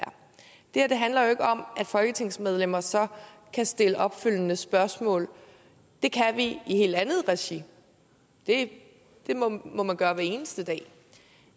her handler jo ikke om at folketingsmedlemmer så kan stille opfølgende spørgsmål det kan vi i et helt andet regi det må man gøre hver eneste dag